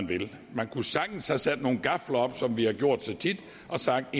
vil man kunne sagtens have sat nogle gafler op som vi har gjort så tit og sagt at